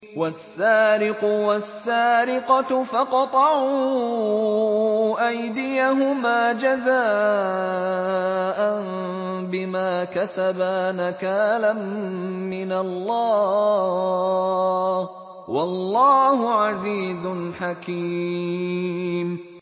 وَالسَّارِقُ وَالسَّارِقَةُ فَاقْطَعُوا أَيْدِيَهُمَا جَزَاءً بِمَا كَسَبَا نَكَالًا مِّنَ اللَّهِ ۗ وَاللَّهُ عَزِيزٌ حَكِيمٌ